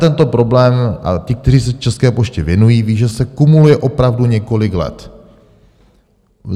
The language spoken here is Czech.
Tento problém, a ti, kteří se České poště věnují, vědí, že se kumuluje opravdu několik let.